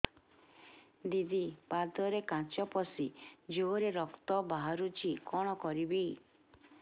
ଦିଦି ପାଦରେ କାଚ ପଶି ଜୋରରେ ରକ୍ତ ବାହାରୁଛି କଣ କରିଵି